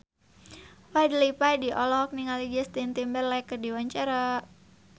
Fadly Padi olohok ningali Justin Timberlake keur diwawancara